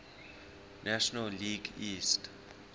national league east